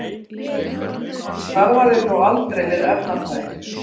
Hann starfaði þó aldrei við efnafræði.